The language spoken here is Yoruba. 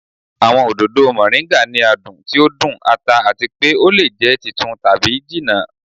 Awọn ododo Moringa ni adun ti o dun, ata ati pe o le jẹ titun tabi jinna.